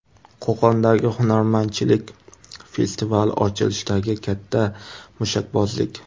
Qo‘qondagi Hunarmandchilik festivali ochilishidagi katta mushakbozlik.